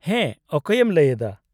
-ᱦᱮᱸ, ᱚᱠᱚᱭᱮᱢ ᱞᱟᱹᱭ ᱮᱫᱟ ?